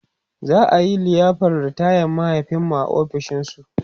za'a liyafar ritayan mahaifinmu a ofishin su